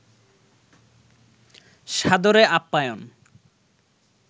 সাদরে আপ্যায়ন